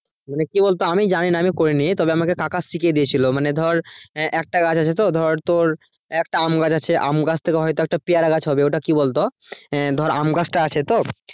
মানে কি বলতো আমি জানিনা আমি করিনি। তবে আমাকে কাকা শিখিয়ে দিয়েছিল মানে ধর আহ একটা গাছ আছে তো ধর তোর একটা আম গাছ আছে আম গাছ থেকে হয়তো একটা পেয়ারা গাছ হবে ওটা কি বলতো ধর আম গাছটা আছে তো?